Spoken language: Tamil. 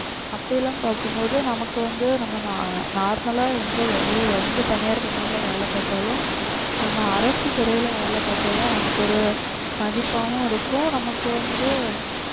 அப்படி எல்லாம் பார்க்கும் போது நமக்கு வந்து நம்ம அஹ் normal அ எந்த வெளிய எந்த தனியார் company ல வேலை பார்த்தாலும் ஆஹ் நம்ம அரசு துறையில வேலை பார்த்தாதான் நமக்கு ஒரு மதிப்பாவும் இருக்கும் நமக்கு வந்து